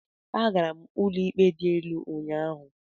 Agara m ụlọ ikpe dị elu ụnyahụ.